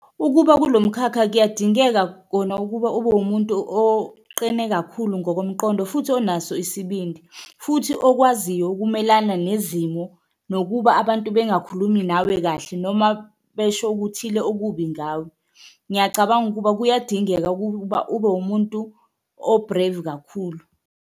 Ukuba kulo mkhakha kuyadingeka kona ukuba obe uwumuntu oqine kakhulu ngokomqondo futhi onaso isibindi, futhi okwaziyo ukumelana nezimo nokuba abantu bengakhulumi nawe kahle noma besho okuthile okubi ngawe. Ngiyacabanga ukuba kuyadingeka ukuba ube umuntu o-brave kakhulu.